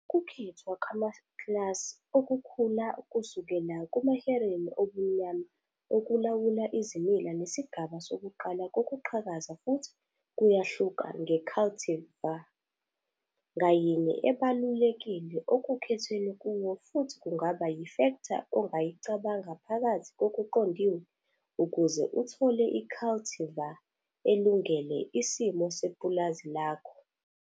Ukukhethwa kwamaklasi okukhula kusukela kumahereni obumnyama okulawula izimila nesigaba sokuqala kokuqhakaza futhi kuyahluka nge-cultivar ngayinye ebalulekile okukhethwe kuwo futhi kungaba yifektha ongayicabanga phakathi kokuqondiwe ukuze uthole i-cultivar elungele isimo sepulazi lakho.